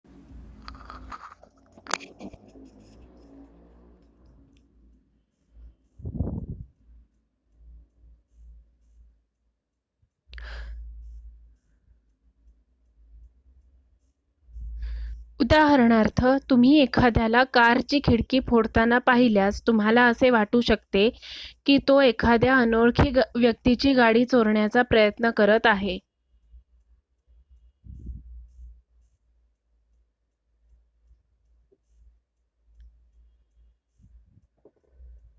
उदाहरणार्थ तुम्ही एखाद्याला कारची खिडकी फोडताना पाहिल्यास तुम्हाला असे वाटू शकते की तो एखाद्या अनोळखी व्यक्तीची गाडी चोरण्याचा प्रयत्न करत आहे